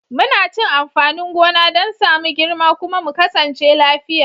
Muna cin amfanin gona don sa mu girma kuma mu kasance lafiya.